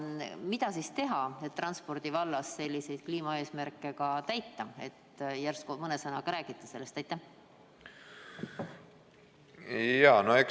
Mida teha, et ka transpordi vallas selliseid kliimaeesmärke täita – äkki mõne sõnaga räägite sellest?